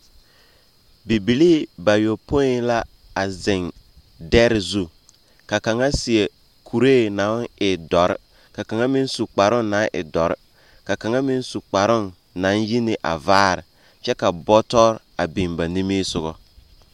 Bibilii bayopoi la a zeŋ dɛre zu, ka kaŋa seɛ kuree naŋ e dɔre, ka kaŋa meŋ su kparoo naŋ e dɔre, ka kaŋa meŋ su kparoo naŋ yi neŋ a vaare kyɛ ka bɔtɔ a biŋ ba nimisoga. 13394